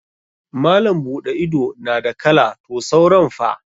Malam buɗe ido na da kala to sauran fa?